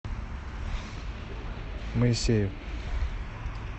моисеев